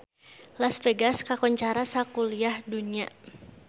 Las Vegas kakoncara sakuliah dunya